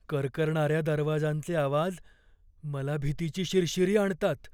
करकरणाऱ्या दरवाजांचे आवाज मला भीतीची शिरशिरी आणतात.